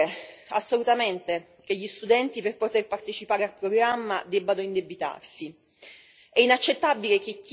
A mio avviso non è possibile assolutamente che gli studenti, per poter partecipare al programma, debbano indebitarsi.